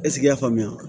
Eseke i y'a faamuya wa